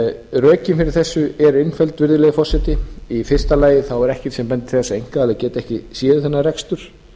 rökin fyrir þessu eru einföld virðulegi forseti í fyrsta lagi er ekkert sem bendir til þess að einkaaðilar geti ekki séð um þennan rekstur